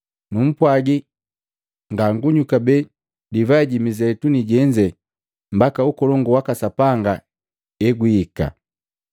Numpwagi, ngangunywi kabee divai ji Mizeituni jenze mbaka ukolongu waka Sapanga hegwiika.”